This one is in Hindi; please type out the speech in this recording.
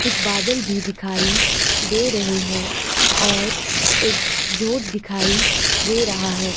कुछ बदल भी दिखाई दे रहे हैं और एक जोड़ दिखाइ दे रहा है।